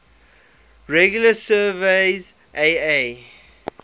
regularly surveys aa